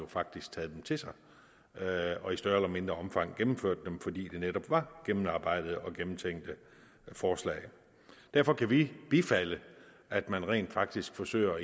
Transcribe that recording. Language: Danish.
faktisk taget dem til sig og i større eller mindre omfang gennemført dem fordi de netop var gennemarbejdede og gennemtænkte forslag derfor kan vi bifalde at man rent faktisk forsøger